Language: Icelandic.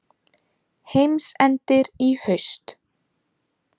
Heimsendir í haust